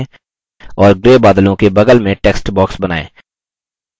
और grey बादलों के बगल में text box बनाएँ